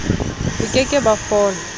bo ke ke ba fola